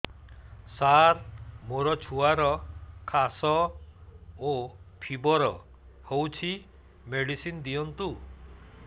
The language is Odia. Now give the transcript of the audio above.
ସାର ମୋର ଛୁଆର ଖାସ ଓ ଫିବର ହଉଚି ମେଡିସିନ ଦିଅନ୍ତୁ